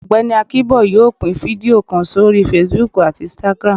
Ọgbẹni Akinbo yóò pín fidio kán sorí Facebook atí Instagram